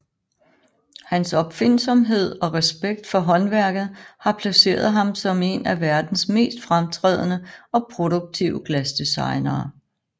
Hans opfindsomhed og respekt for håndværket har placeret ham som en af verdens mest fremtrædende og produktive glasdesignere